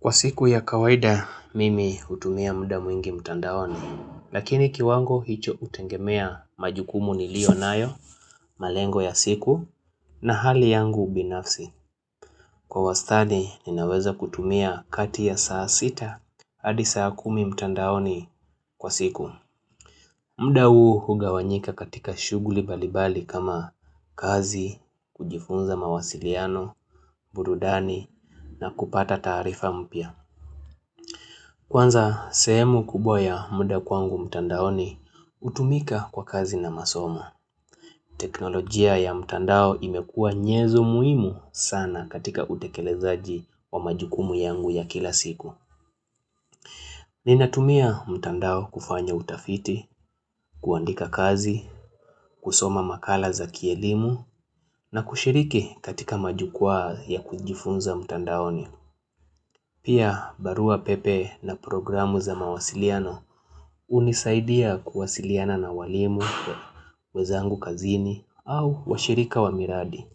Kwa siku ya kawaida, mimi hutumia muda mwingi mtandaoni. Lakini kiwango hicho hutegemea majukumu niliyonayo, malengo ya siku, na hali yangu ubinafsi. Kwa wastadi, ninaweza kutumia kati ya saa sita, hadi saa kumi mtandaoni kwa siku. Muda huu hugawanyika katika shuguli mbalimbali kama kazi, kujifunza mawasiliano, burudani, na kupata taarifa mpya. Kwanza, sehemu kubwa ya muda kwangu mtandaoni, hutumika kwa kazi na masomo. Teknolojia ya mtandao imekua nyenzo muhimu sana katika utekelezaji wa majukumu yangu ya kila siku. Ninatumia mtandao kufanya utafiti, kuandika kazi, kusoma makala za kielimu, na kushiriki katika majukwaa ya kujifunza mtandaoni. Pia, barua pepe na programu za mawasiliano hunisaidia kuwasiliana na walimu, wenzangu kazini au washirika wa miradi.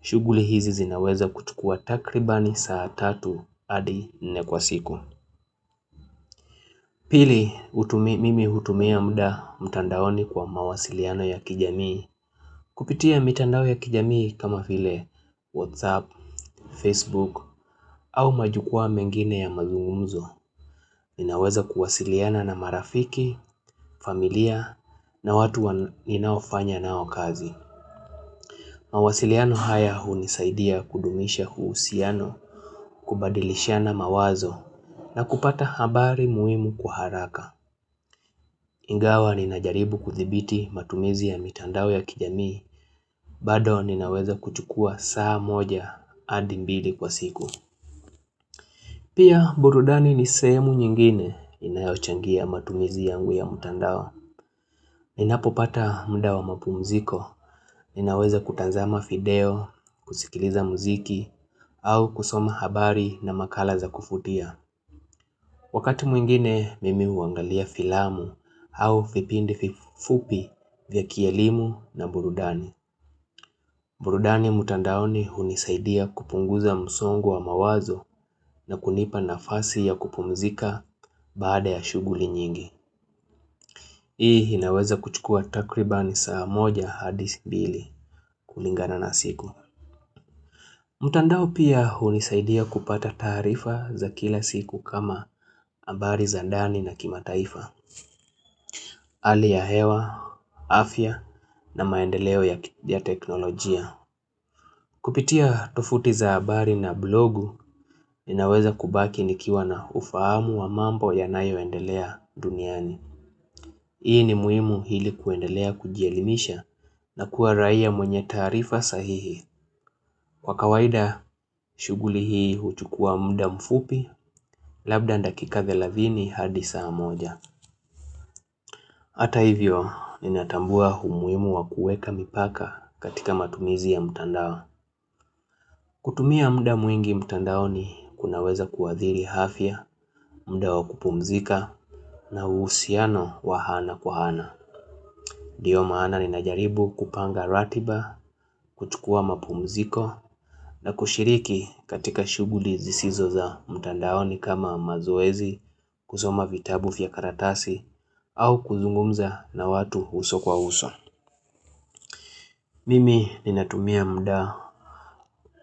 Shughuli hizi zinaweza kuchukua takribani saa tatu hadi nne kwa siku. Pili, mimi hutumia muda mtandaoni kwa mawasiliano ya kijamii. Kupitia mitandao ya kijamii kama vile whatsapp, facebook au majukwaa mengine ya mazungumzo Ninaweza kuwasiliana na marafiki, familia na watu ninaofanya nao kazi mawasiliano haya hunisaidia kudumisha uhusiano, kubadilishana mawazo na kupata habari muhimu kwa haraka Ingawa ninajaribu kuthibiti matumizi ya mitandao ya kijamii, bado ninaweza kuchukua saa moja hadi mbili kwa siku. Pia burudani ni sehemu nyingine inayochangia matumizi yangu ya mtandao. Ninapopata muda wa mapumziko, ninaweza kutazama video, kusikiliza muziki, au kusoma habari na makala za kuvutia. Wakati mwingine mimi huangalia filamu au vipindi fupi vya kielimu na burudani. Burudani mtandaoni hunisaidia kupunguza msongo wa mawazo na kunipa nafasi ya kupumzika baada ya shughuli nyingi. Hii inaweza kuchukua takribani saa moja hadi mbili kulingana na siku. Mtandao pia hunisaidia kupata taarifa za kila siku kama habari za ndani na kimataifa. Hali ya hewa, afya na maendeleo ya teknolojia. Kupitia tovuti za habari na blogu ninaweza kubaki nikiwa na ufahamu wa mambo yanayoendelea duniani. Hii ni muhimu ili kuendelea kujielimisha na kuwa raia mwenye taarifa sahihi. Kwa kawaida shughuli hii huchukua muda mfupi labda dakika 30 hadi saa moja. Hata hivyo, ninatambua umuimu wa kuweka mipaka katika matumizi ya mtandao. Kutumia muda mwingi mtandaoni kunaweza kuadhiri afya, muda wa kupumzika, na uhusiano wa ana kwa ana. Ndiyo maana ninajaribu kupanga ratiba, kuchukua mapumziko, na kushiriki katika shughuli zisizo za mtandaoni kama mazoezi, kusoma vitabu vya karatasi, au kuzungumza na watu uso kwa uso. Mimi ninatumia muda.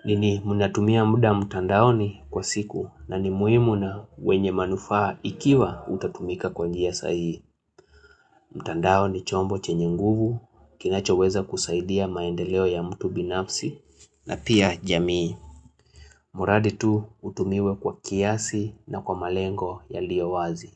Mimi ninatumia muda mtandaoni kwa siku na ni muhimu na wenye manufaa ikiwa utatumika kwa njia sahihi. Mtandao ni chombo chenye nguvu, kinachoweza kusaidia maendeleo ya mtu binafsi na pia jamii. Mradi tu utumiwe kwa kiasi na kwa malengo yaliyo wazi.